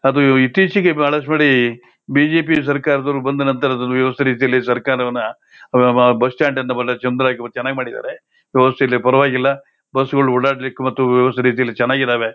ಅದು ಇತೀಚಿಗೆ ಬಹಳ ಶ್ವರಿ ಬಿ ಜೆ ಪಿ ಸರಕಾರದವರು ಬಂದ ನಂತರ ಸರಕಾರವನ್ನಾ ಬಸ್ ಸ್ಟಾಂಡ್ ಚೆನ್ನಾಗಿ ಮಾಡಿದರೆ ಪರವಾಗಿಲ್ಲಾಬಸ್ಗಳು ಓಡಾಡಲಿಕ್ಕೆ ಮತ್ತು ವ್ಯವಸರಿತ್ತಿಯಲ್ಲಿ ಚೆನ್ನಗಿದವೆ